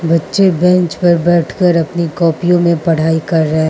बच्चे बेंच पर बैठकर अपनी कॉपियों मे पढ़ाई कर रहे --